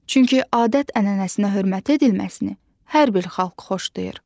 Çünki adət-ənənəsinə hörmət edilməsini hər bir xalq xoşlayır.